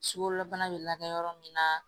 Sukaro bana be lakɛ yɔrɔ min na